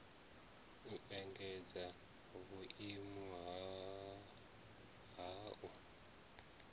u engedza vhuimo ha u